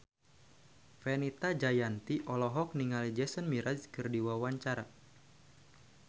Fenita Jayanti olohok ningali Jason Mraz keur diwawancara